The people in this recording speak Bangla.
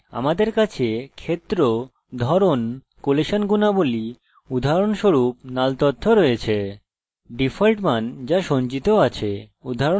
ডিফল্ট মান যা সঞ্চিত আছে উদাহরণস্বরূপ যদি আপনার কাছে ক্ষেত্র আছে has the user registered